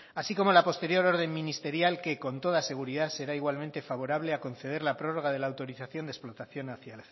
así como la posterior orden ministerial que con toda seguridad será igualmente favorable a conceder la prórroga de la autorización de explotación hacia